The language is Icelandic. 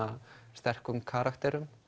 sterkur karakterum